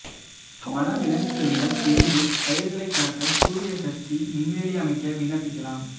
வனவிலங்குகளிடம் இருந்து பயிர்களை காக்க சூரிய சக்தி மின்வேலி அமைக்க விண்ணப்பிக்கலாம்